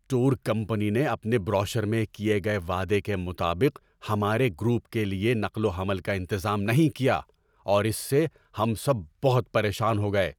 Tour company نے اپنے brochure میں کیے گئے وعدے کے مطابق ہمارے گروپ کے لیے نقل و حمل کا انتظام نہیں کیا اور اس سے ہم سب بہت پریشان ہو گئے۔